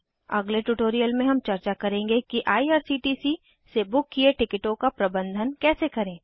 अगले ट्यूटोरियल में हम चर्चा करेंगे कि आईआरसीटीसी से बुक किये टिकिटों का प्रबंधन कैसे करें